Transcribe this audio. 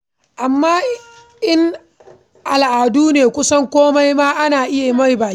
Amma in a al'adu ne, kusan komai ma ana iya yi masa biki.